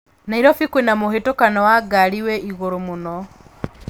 Nairobi kwĩna mũhatĩkano wa ngari wĩ igũru muno